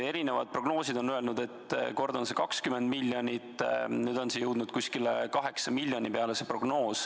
Erinevad prognoosid on kord öelnud, et see on 20 miljonit, nüüd on see prognoos jõudnud umbes 8 miljoni peale.